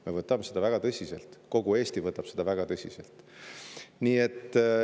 Me võtame seda väga tõsiselt, kogu Eesti võtab seda väga tõsiselt.